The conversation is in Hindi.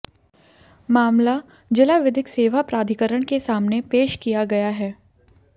मामला जिला विधिक सेवा प्राधिकारण के सामने पेश किया गया है